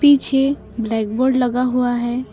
पीछे black board लगा हुआ है।